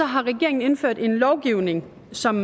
har regeringen indført en lovgivning som